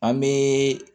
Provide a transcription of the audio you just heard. An bɛ